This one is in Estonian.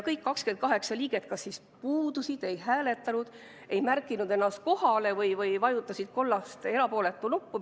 Kõik 28 liiget kas puudusid, ei hääletanud, ei märkinud ennast kohalolijaks või vajutasid kollast erapooletuks jäämise nuppu.